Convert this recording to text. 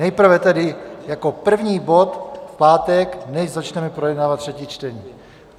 Nejprve tedy jako první bod v pátek, než začneme projednávat třetí čtení.